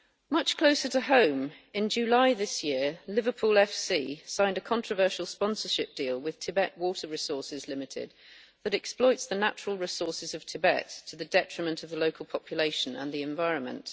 Much closer to home, in July this year Liverpool FC signed a controversial sponsorship deal with Tibet Water Resources Limited that exploits the natural resources of Tibet to the detriment of the local population and the environment.